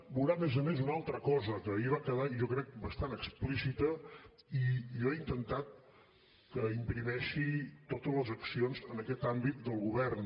veurà a més a més una altra cosa que ahir va quedar jo ho crec bastant explícita i jo he intentat que imprimeixi totes les accions en aquest àmbit del govern